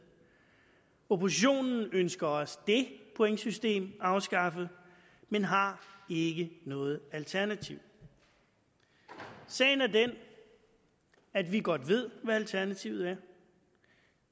oppositionen ønsker også det pointsystem afskaffet men har ikke noget alternativ sagen er den at vi godt ved hvad alternativet er